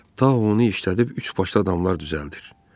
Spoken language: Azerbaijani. Tao onu işlədib üçbaşlı adamlar düzəldib.